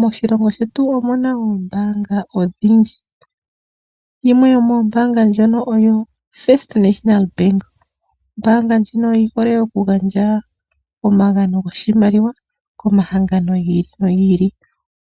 Moshilongo shetu omuna oombanga odhindji. Yimwe yo moombanga dhono oyo ombanga yotango yopashigwana. Ombanga ndjino oyi hole oku gandja omagano goshimaliwa komahangano giili nogiili.